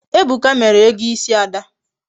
Ebuka mere ego isi Ada